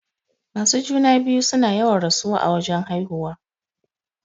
Masu juna-biyu suna yawan rasuwa a wajan haihuwa.